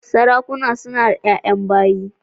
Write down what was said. Sarakuna nada yayan bayi